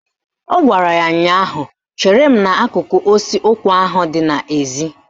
Ọ gwara ya ụnyaahụ "Chere m n'akụkụ osisi ụkwa ahụ dị n'ezi!